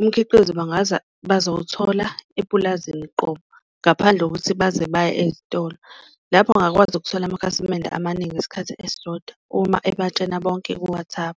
umkhiqizo bangaza bazowuthola epulazini qobo ngaphandle kokuthi baze baye ezitolo. Lapho angakwazi ukuthola amakhasimende amaningi ngesikhathi esisodwa, uma ebatshena bonke ku-WhatsApp.